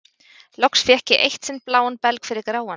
Loks fékk ég eitt sinn bláan belg fyrir gráan.